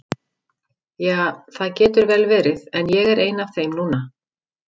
Ja, það getur vel verið, en ég er ein af þeim núna.